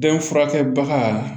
Den furakɛ baga